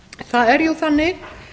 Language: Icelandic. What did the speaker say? það er jú þannig